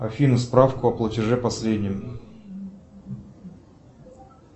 афина справку о платеже последнем